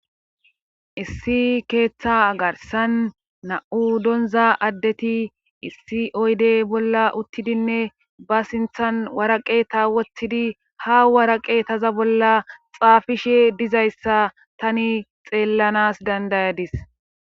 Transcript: Issi keeththa agarsan na7u doonza addeti issi oyde bolla uttidinne ba sinthan waraqe ta wotidi ha waraqe taza bolla xaafishe dizayssa tani xeellanas dandayadis.